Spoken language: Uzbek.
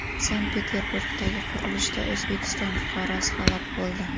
Sankt-Peterburgdagi qurilishda O‘zbekiston fuqarosi halok bo‘ldi.